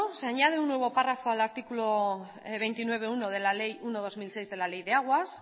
se añade un nuevo párrafo al artículo veintinueve punto uno de la ley uno barra dos mil seis de la ley de aguas